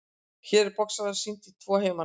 Hér er boxara sýnt í tvo heimana.